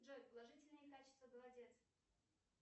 джой положительные качества голодец